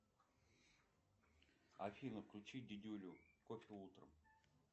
афина включи дидюлю кофе утром